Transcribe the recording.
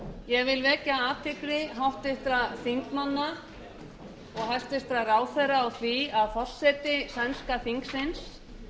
ég vil vekja athygli háttvirtra alþingismanna og háttvirtra ráðherra á því að forseti sænska